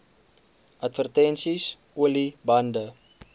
advertensies olie bande